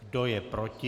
Kdo je proti?